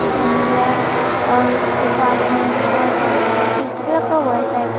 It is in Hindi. कैंडल और उसके पास में भी बहुत सारे ईट लगा हुआ है शायद।